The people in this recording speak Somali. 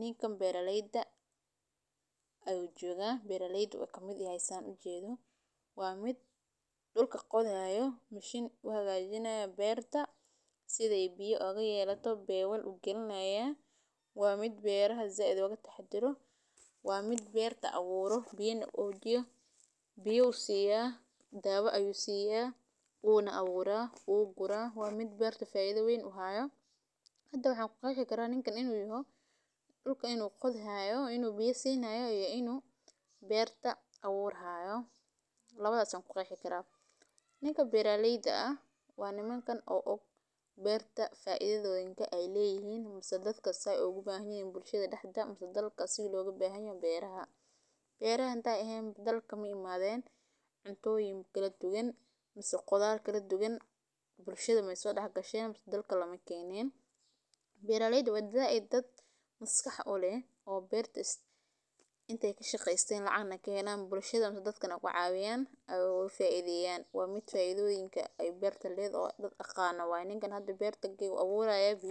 Ninkan beraleyda ayu joga. Beraleyda ayu kamid yahay san arkayo oo ujedo oo bebal qalinayo ,waa mid berto aburo oo zaid oga taxadaro, biyo siyo ,ona aburo ,dawo siyo wuu guraa, waa mid beeerto faido weyn u hayo, inta waxan ku qexii karaa ninkan inu yahay ,dhulka inu qodayo, inu biyo sin hayo ,iyo inu berta aburi hayo labadas ayan ku qiyasi karaa. Ninka beeraleyda ah waa nin oo og beerta faidada ay ledahay ,sidha beeraha loga bahan yahay bulshada dexdeda